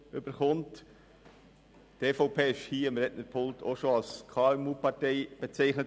Die EVP wurde hier am Rednerpult auch schon als KMU-Partei bezeichnet.